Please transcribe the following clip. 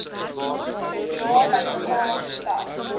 bedrae bymekaar tel